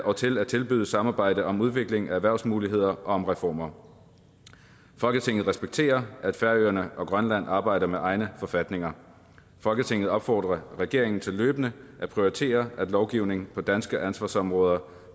og til at tilbyde samarbejde om udvikling af erhvervsmuligheder og om reformer folketinget respekterer at færøerne og grønland arbejder med egne forfatninger folketinget opfordrer regeringen til fortsat løbende at prioritere at lovgivning på danske ansvarsområder